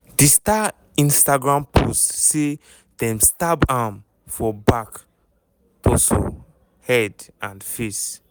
di star instagram post say dem stab am for back torso head and face.